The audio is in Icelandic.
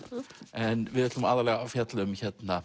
en við ætlum aðallega að fjalla um